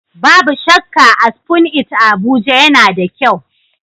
Babu shakka, a Spoon It a Abuja, yana da kyau.